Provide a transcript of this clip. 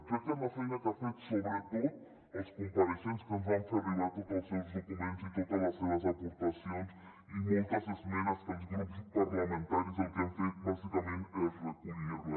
crec que és la feina que han fet sobretot els compareixents que ens van fer arribar tots els seus documents i totes les seves aportacions i moltes esmenes que els grups parlamentaris el que hem fet bàsicament és recollir les